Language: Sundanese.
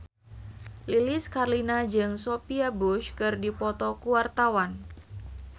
Lilis Karlina jeung Sophia Bush keur dipoto ku wartawan